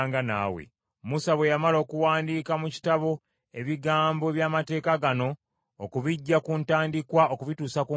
Musa bwe yamala okuwandiika mu Kitabo ebigambo eby’amateeka gano, okubiggya ku ntandikwa okubituusa ku nkomerero,